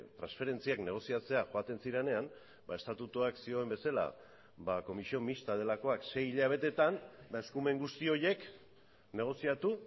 transferentziak negoziatzera joaten zirenean ba estatutuak zioen bezala ba comisión mixta delakoak sei hilabetetan eta eskumen guzti horiek negoziatu